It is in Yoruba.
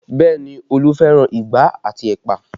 Bẹẹ ni, Olu fẹ́ràn igbá àti ẹ̀pà